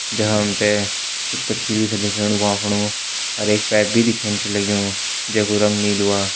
जखा हम तें कुछ कछली भी दिखेणु भ्वां फणु अर एक पेप भी दिखेंण छ लग्युं जे कु रंग नीलू आ।